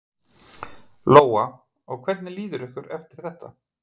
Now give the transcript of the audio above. Lóa: Og hvernig líður ykkur eftir þetta?